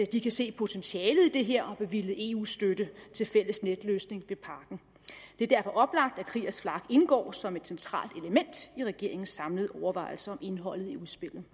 de kan se potentialet i det her og har bevilget eu støtte til fælles netløsning ved parken det er derfor oplagt at kriegers flak indgår som et centralt element i regeringens samlede overvejelser om indholdet i udspillet